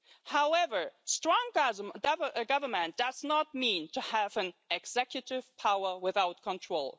However, strong government does not mean having an executive power without control.